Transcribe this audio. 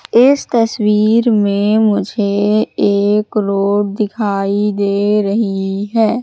इस तस्वीर में मुझे एक रोड दिखाई दे रही है।